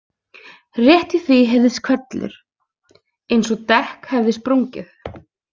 Rétt í því heyrðist hvellur, eins og dekk hefði sprungið.